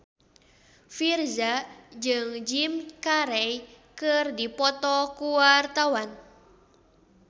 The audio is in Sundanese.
Virzha jeung Jim Carey keur dipoto ku wartawan